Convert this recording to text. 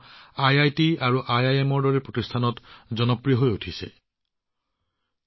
IIT আৰু আইআইএমৰ দৰে প্ৰতিষ্ঠানত সংস্কৃত কেন্দ্ৰসমূহ অতি জনপ্ৰিয় হৈ পৰিছে